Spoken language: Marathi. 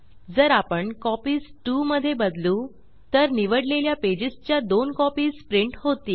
जर आपण कॉपीज कॉपीस 2 मध्ये बदलू तर निवडलेल्या पेजेस च्या 2 कॉपीस प्रिंट होतील